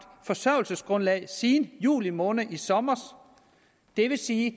forsørgelsesgrundlag siden juli måned i sommer det vil sige